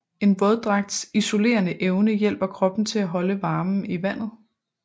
En våddragts isolerende evne hjælper kroppen til at holde varmen i vandet